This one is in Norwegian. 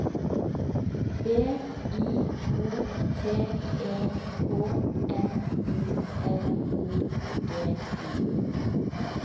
B I O T E K N O L O G I